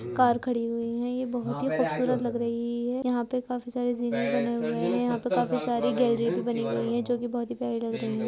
Car खड़ी हुईं हैं। ये बहुत ही खूबसूरत लग रही है। यहां पे काफी सारे जीने बने हुए है। यहाँ पे काफी सारी गैलरी भी बनी हुईं हैं जोकि बहुत ही प्यारी लग रहीं हैं।